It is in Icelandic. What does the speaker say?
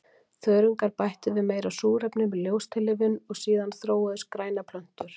Þörungar bættu við meira súrefni með ljóstillífun og síðan þróuðust grænar plöntur.